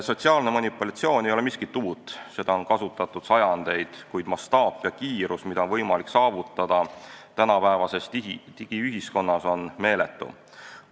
Sotsiaalne manipulatsioon ei ole miskit uut, seda on kasutatud sajandeid, kuid selle mastaap ja kiirus, mida on võimalik saavutada tänapäevases digiühiskonnas, on meeletu.